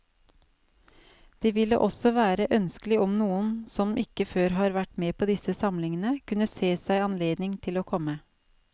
Det ville også være ønskelig om noen som ikke før har vært med på disse samlingene, kunne se seg anledning til å komme.